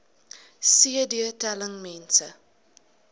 cd telling mense